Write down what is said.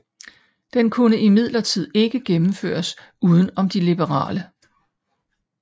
Den kunne imidlertid ikke gennemføres uden om de liberale